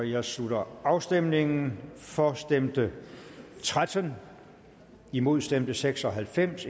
jeg slutter afstemningen for stemte tretten imod stemte seks og halvfems